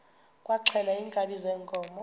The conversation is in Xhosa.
kwaxhelwa iinkabi zeenkomo